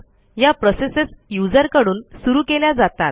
या प्रोसेसेस userकडून सुरू केल्या जातात